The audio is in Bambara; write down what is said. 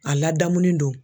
A ladamuni do.